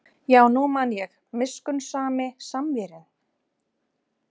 Já, nú man ég: miskunnsami Samverjinn, var það ekki?